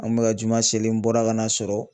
An kun bɛ ka juma selen n bɔra ka na sɔrɔ